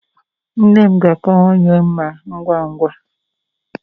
Nne m ga-akawanye mma ngwa ngwa